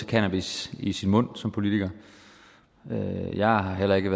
cannabis i sin mund som politiker jeg er heller ikke